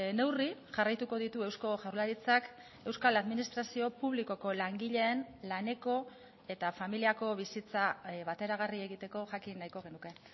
neurri jarraituko ditu eusko jaurlaritzak euskal administrazio publikoko langileen laneko eta familiako bizitza bateragarri egiteko jakin nahiko genuke